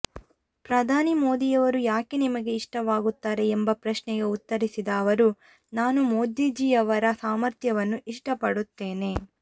ಪ್ರಧಾನಿ ಮೋದಿಯವರು ಯಾಕೆ ನಿಮಗೆ ಇಷ್ವಾಗುತ್ತಾರೆ ಎಂಬ ಪ್ರಶ್ನೆಗೆ ಉತ್ತರಿಸಿದ ಅವರು ನಾನು ಮೋದೀಜಿಯವರ ಸಾಮರ್ಥ್ಯವನ್ನು ಇಷ್ಟಪಡುತ್ತೇನೆ